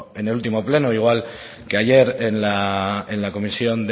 en el último pleno igual que ayer en la comisión